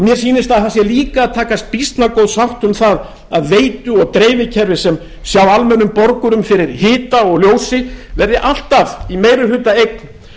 mér sýnist að það sé líka að takast býsna góð sátt um það að veitu og dreifikerfi sem sjá almennum borgurum fyrir hita og ljósi verði alltaf í meirihlutaeign